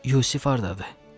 Yusif hardadır?